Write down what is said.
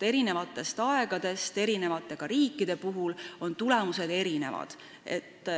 Eri aegadel, ka eri riikides on tulemused erinevad.